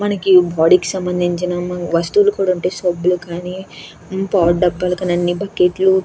Body కి సంభందించిన వస్తువులు కూడా ఉంటాయి సబ్బులు కానీ పౌడర్ దబ్బలు కానీ బకెట్ లు.